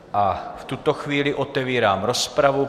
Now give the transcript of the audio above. A v tuto chvíli otevírám rozpravu.